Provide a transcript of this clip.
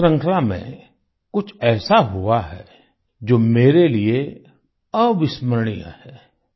इसी श्रृंखला में कुछ ऐसा हुआ है जो मेरे लिए अविस्मरणीय है